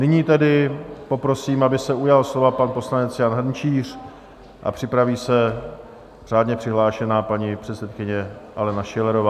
Nyní tedy poprosím, aby se ujal slova pan poslanec Jan Hrnčíř a připraví se řádně přihlášená paní předsedkyně Alena Schillerová.